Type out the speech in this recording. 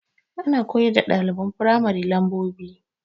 Ana koyar da ɗaliban firamari lambobi